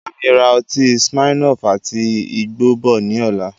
Bámi ra ọtí smirnoff àti igbó bọ̀ ni ọ̀la